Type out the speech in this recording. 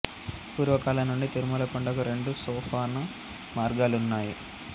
పూర్వ కాలం నుండి తిరుమల కొండకు రెండు సోపాన మార్గాలున్నాయి